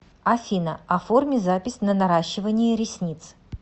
афина оформи запись на наращивание ресниц